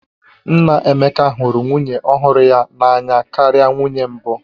Nna Emeka hụrụ nwunye ọhụrụ ya n'anya karịa nwunye mbụ